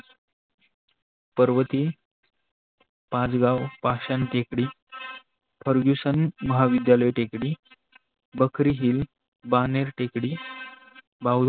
पर्वती, पाच गाव पाषण टेकडी, Fergusson महाविद्यालय टेकडी, बकरी हिल बानेर टेकडी बा